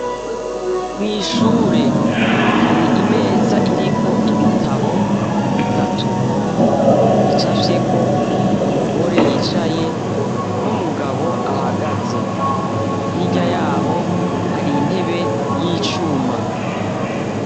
Mw'ishure hari imeza iriko ibitabo bitatu bicafyeko umugore yicaye n'umugabo ahagaze. Hirya yaho hari intebe y'icuma.